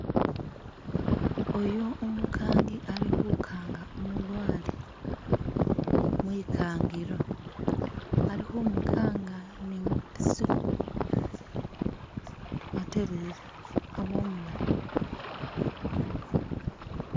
Oyo Umukangi ali'khukanga umulwale mwikangilo, ali khumukanga ne mbiso aterere abe umu'layi